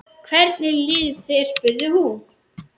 Hvernig líður þér? spurði hún.